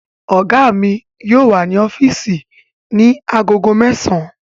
Ọ̀gá mi yóò wà ní ọ́físì ní agogo mẹ́sàn-án